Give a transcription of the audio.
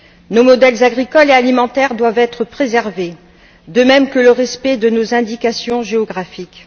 Nos modèles agricole et alimentaire doivent être préservés de même que le respect de nos indications géographiques.